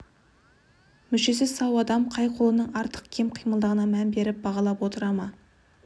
мүшесі сау адам қай қолының артық кем қимылдағанына мән беріп бағалап отыра ма